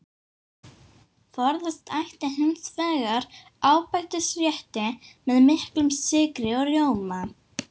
Forðast ætti hins vegar ábætisrétti með miklum sykri og rjóma.